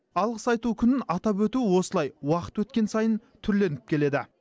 алғыс айту күнін атап өту осылай уақыт өткен сайын түрленіп келеді